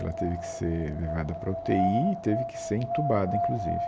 Ela teve que ser levada para a U TÊ Í e teve que ser entubada, inclusive.